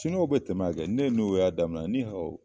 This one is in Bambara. Siniuwa bɛ tɛmɛ yan kɛ, ni ne n'o y'a daminɛ